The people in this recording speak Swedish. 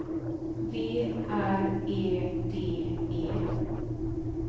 V R E D E